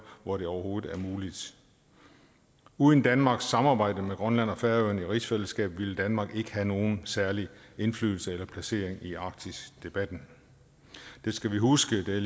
hvor det overhovedet er muligt uden danmarks samarbejde med grønland og færøerne i rigsfællesskabet ville danmark ikke have nogen særlig indflydelse eller placering i arktisdebatten det skal vi huske det